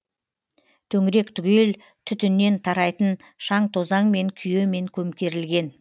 төңірек түгел түтіннен тарайтын шаң тозаңмен күйемен көмкерілген